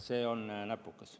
See on näpukas.